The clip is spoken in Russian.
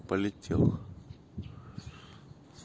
политех